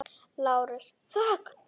LÁRUS: Þögn!